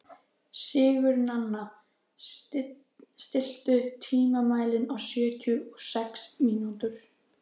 Sigurnanna, stilltu tímamælinn á sjötíu og sex mínútur.